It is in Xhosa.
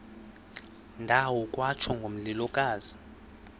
ndawo kwatsho ngomlilokazi